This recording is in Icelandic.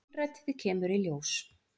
Innrætið kemur í ljós.